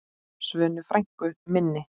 Svönu frænku minni.